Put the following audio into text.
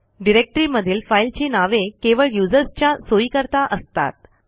डिरेक्टरीमधील फाईलची नावे केवळ usersच्या सोईकरता असतात